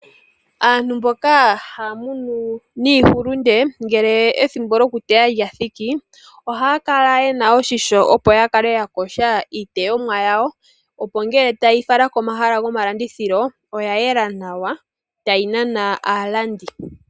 Aantu mboka haya munu iihulunde ngele ethimbo lyokuteya lya thiki ohaya kala ye na oshimpwiyu opo ya kale ya yoga iiteyomwa yawo opo ngele taye yi fala komahala gomalandithilo oya yela nawa tayi nana aalandi.